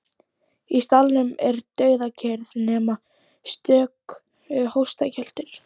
Í salnum er dauðakyrrð nema stöku hóstakjöltur.